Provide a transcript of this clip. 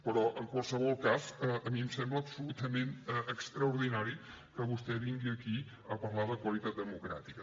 però en qualsevol cas a mi em sembla absolutament extraordinari que vostè vingui aquí a parlar de qualitat democràtica